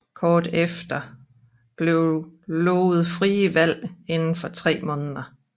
Kort efter blev lovet frie valg inden for tre måneder